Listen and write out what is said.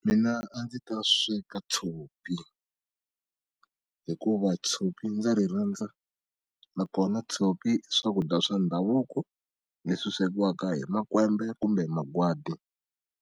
Mina a ndzi ta sweka tshopi hikuva tshopi ndza ri rhandza na kona tshopi i swakudya swa ndhavuko leswi swekiwaka hi makwembe kumbe magwadi.